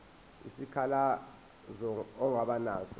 isikhalazo ongaba naso